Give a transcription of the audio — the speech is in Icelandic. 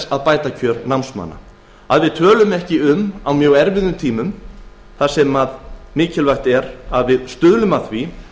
að bæta kjör námsmanna einkum á erfiðum tímum þegar mikilvægt er að stuðlað sé að því